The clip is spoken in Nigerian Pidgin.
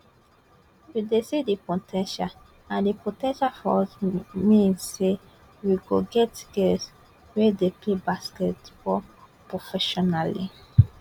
we dey see di po ten tial and di po ten tial for us mean say we go get girls wey dey pay basketball professionally